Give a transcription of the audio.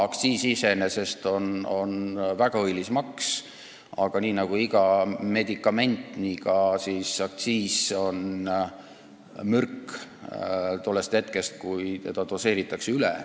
Aktsiis iseenesest on väga õilis maks, aga nii nagu iga medikament, on ka aktsiis mürk, kui seda doseeritakse üle.